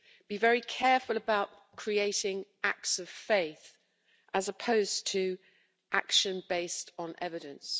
Be very careful about creating acts of faith, as opposed to action based on evidence.